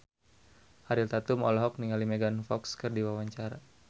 Ariel Tatum olohok ningali Megan Fox keur diwawancara